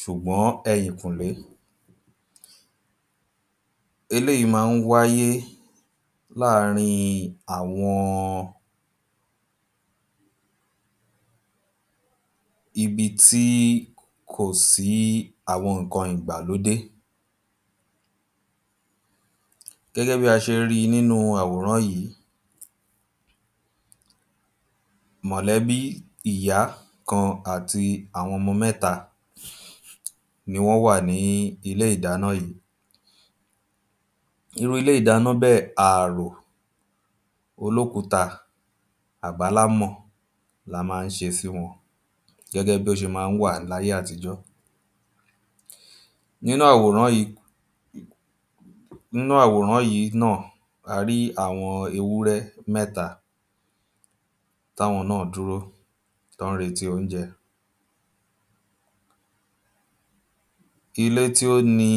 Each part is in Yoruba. ṣùgbọ́n ẹ̀yìnkúlé. Eléèyí má ń wáyé láàrin àwọn ibi tí kò sí àwọn nǹkan ìgbàlódé. Gẹ́gẹ́ bí a ṣe rí nínú àwòrán yìí mọ̀lẹ́bí ìyá kan àti àwọn ọmọ mẹ́ta ni wọ́n wà ní ilé ìdáná yìí. Irú ilé ìdáná bẹ́ẹ̀ àrò olókúta àbálámọ̀ là má ń ṣe sí wọn gẹ́gẹ́ bó ṣé má ń wà láyé àtijọ́. Nínú àwòrán yìí nínú àwòrán yìí náà a rí àwọn ewúrẹ́ mẹ́ta táwọn náà dúró tán ń retí óúnjẹ. Ilé tí ó ni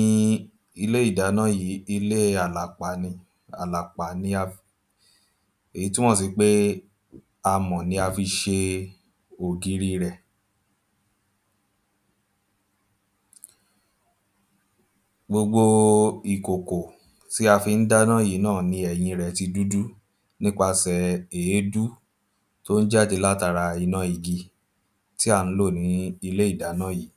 ilé ìdáná yìí ilé àlàpà ni àlàpà ni a fi èyí túnmọ̀ sí pé amọ̀ ni a fi ṣe ògiri rẹ̀. Gbogbo ìkòkò tí a fi ń dáná yìí náà ni ẹ̀yìn rẹ̀ ti dúdú nípasẹ èédú tó ń ʤáje látara iná igi tí à ń lò nĩ́ ilé ìdáná yìí.